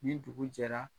Ni dugu jɛra